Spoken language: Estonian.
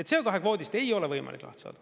CO2 kvoodist ei ole võimalik.